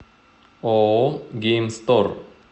ооо геймстор